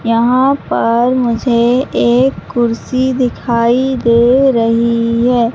यहां पर मुझे एक कुर्सी दिखाई दे रही है।